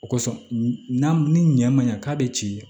O kosɔn n'a ni ɲɛ ma ɲa k'a bɛ ci